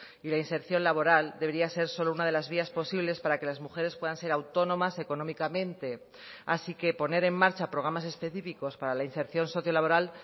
y la inserción laboral debería ser solo una de las vías posibles para que las mujeres puedan ser autónomas económicamente así que poner en marcha programas específicos para la inserción socio laboral